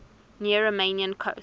near romanian coast